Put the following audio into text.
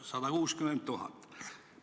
160 000!